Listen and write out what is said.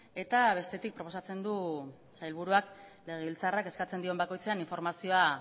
eta bestetik proposatzen du sailburuak legebiltzarrak eskatzen dion bakoitzean informazioa